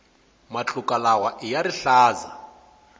matluka lawaiya rihlaza